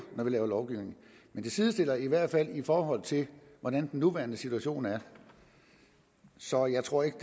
når vi laver lovgivning men det sidestiller i hvert fald i forhold til hvordan den nuværende situation er så jeg tror ikke